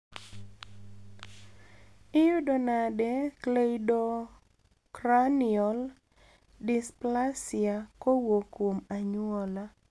iyudo nade cleidocranial dysplasia kowuok kuom anyuola?